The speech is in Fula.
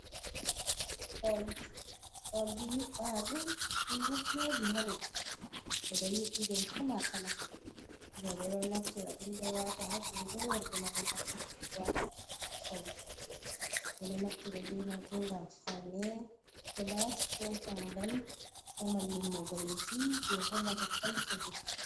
Oldi, oldi yubɓaɗum ɗum ɗo jooɗi ha leddi, ɓeɗo yubɓi ɗum kala-kala. Roɓe ɗon naftiraɗum ɗo wata ha jungo, worɓema ɗon naftiraɗum ɗo wata ajuuɗe fauniira .Ɓeɗon naftira be majum ngam faune ko laati ɗo ɓangal ko malli mobreejii jee hollata kolsho himbe.